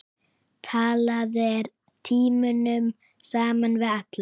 Talaðir tímunum saman við alla.